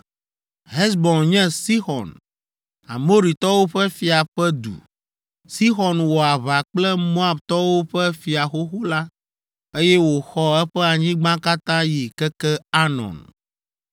Hesbon nye Sixɔn, Amoritɔwo ƒe fia ƒe du. Sixɔn wɔ aʋa kple Moabtɔwo ƒe fia xoxo la, eye wòxɔ eƒe anyigba katã yi keke Arnon.